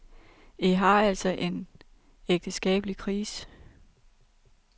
I har altså en ægteskabelig krise.